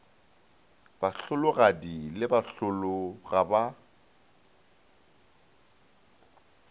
bahlologadi le bahlolo ga ba